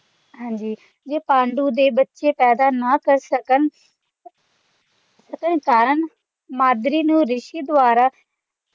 ਹਾਂ ਜੀ ਪਾਂਡੂ ਦੇ ਬੱਚੇ ਪੈਦਾ ਨਾ ਕਰ ਸਕਣ ਕਾਰਣ ਮਾਦ੍ਰੀ ਨੂੰ ਰਿਸ਼ੀ ਦੁਆਰਾ